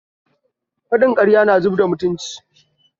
Faɗin ƙarya na zubarda mutunci